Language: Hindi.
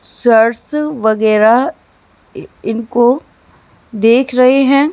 सच वगैरा इनको देख रहे हैं।